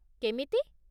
କେମିତି?